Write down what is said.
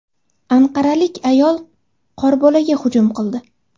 Anqaralik ayol qorbolaga hujum qildi.